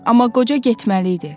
Amma qoca getməli idi.